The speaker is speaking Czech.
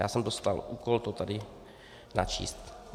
Já jsem dostal úkol to tady načíst.